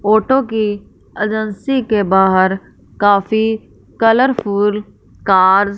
auto की agency के बाहर काफी कलरफुल कार्स --